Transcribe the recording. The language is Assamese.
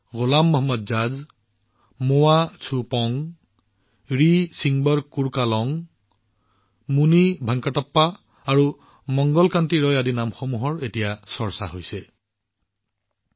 গোলাম মহম্মদ জাজ মোৱা চুপং ৰিসিংবৰ কুৰ্কালং মুনিভেংকটাপ্পা আৰু মংগল কান্তি ৰায় হৈছে চৌদিশে চৰ্চিত হোৱা কেইটামান নাম